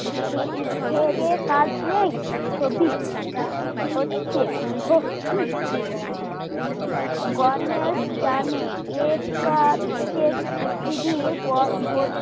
খয়েই খেয়েদেয়ে কাজ নেই ছবি হচ্ছে হ হম গণেশ জানে এর কাছে পৃথিবীর গো